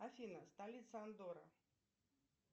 афина столица андоры